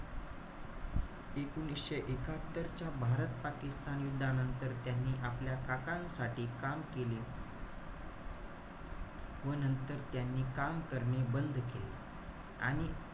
एकोणीशे एकात्तर च्या भारत-पाकिस्तान युद्धानंतर त्यांनी आपल्या काकांसाठी काम केले. व नंतर त्यांनी काम करणे बंद केले. आरणि,